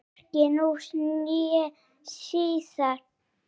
Hvorki nú né síðar.